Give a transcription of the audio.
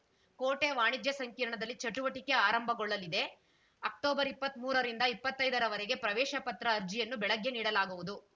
ಕೋಟೆ ವಾಣಿಜ್ಯ ಸಂಕಿರ್ಣದಲ್ಲಿ ಚಟುವಟಿಕೆ ಆರಂಭಗೊಳ್ಳಿದೆ ಅಕ್ಟೊಬರ್ಇಪ್ಪತ್ಮೂರ ರಿಂದ ಇಪ್ಪತ್ತೈದ ರವರೆಗೆ ಪ್ರವೇಶ ಪತ್ರ ಅರ್ಜಿಯನ್ನು ಬೆಳಗ್ಗೆ ನೀಡಲಾಗುವುದು